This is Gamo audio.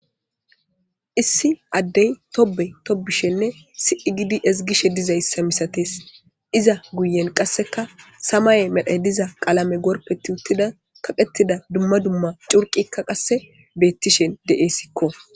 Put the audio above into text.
issi addey tobe tobishenne sii gidi esgishe dizayssa misates iza guyen qasseka samaye medhe diza qaalame gorpeti uttida kaqettida dumma dumma curqikka qasse beettishen de7essikko